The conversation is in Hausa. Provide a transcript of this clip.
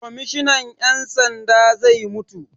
Kwammishinan 'yan sanda zai mutu.